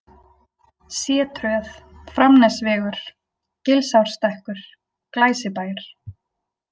C-Tröð, Framnesvegur, Gilsárstekkur, Glæsibær